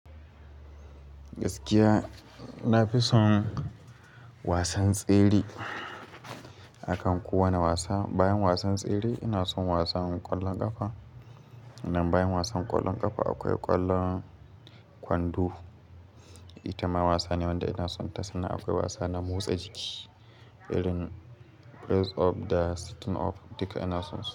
Gaskiya nafi son wasan tsere, akan kowane wasa. Bayan wasan tsere ina son wasan ƙwallon ƙafa. Nan bayan wasan ƙwallon ƙafa akwai ƙwallon kwando. Ita ma wasa ne wanda ina sonta, sannan akwai wasa na motsa jiki irin press up da sitting up duka ina son su.